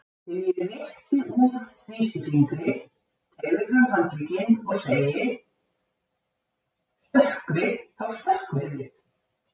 Þegar ég rétti úr vísifingri, teygi fram handlegginn og segi: stökkvið, þá stökkvið þið.